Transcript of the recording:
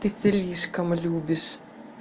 ты слишком любишь